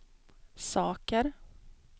saker